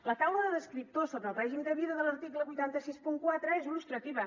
la taula de descriptors sobre el règim de vida de l’article vuit cents i seixanta quatre és il·lustrativa